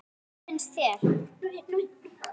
Eða hvað finnst þér?